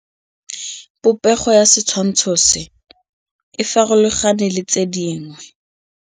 Popêgo ya setshwantshô se, e farologane le tse dingwe.